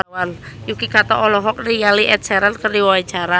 Yuki Kato olohok ningali Ed Sheeran keur diwawancara